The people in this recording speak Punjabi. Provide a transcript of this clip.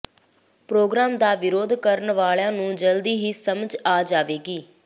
ਪ੍ਰੋਗਰਾਮ ਦਾ ਵਿਰੋਧ ਕਰਨ ਵਾਲਿਆਂ ਨੂੰ ਜਲਦ ਹੀ ਸਮਝ ਆ ਜਾਵੇਗੀ